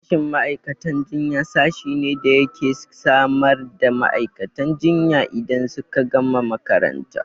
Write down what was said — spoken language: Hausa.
Sashin ma'aikatan jinya sashi ne da yake samar da ma'aikatan jinya idan suka gama makaranta